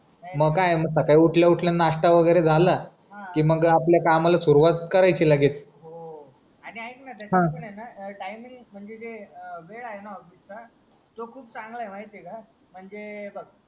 म काय म साकाळी उठल्याउठल्या नाश्ता वगैरे झाला कि मग आपल्या कामाला सुरुवात करायची लगेच हो आणि ऐक ना टाईमिंग म्हणजे ते ए वेळ आहे ना ऑफिस चा तो खूप चांगला आहे माहिती आहे का म्हणजे हे बघ